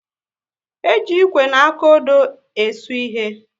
E ji Ịkwe na akụodo e su ịhe